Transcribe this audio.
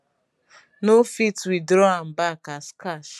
no fit withdraw am back as cash